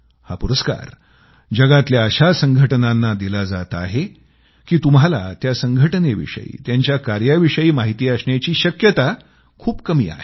हा पुरस्कार दुनियेतल्या अशा संघटनांना दिला जात आहे की तुम्हाला त्या संघटनेविषयी त्यांच्या कार्याविषयी माहिती असण्याची शक्यता खूप कमी आहे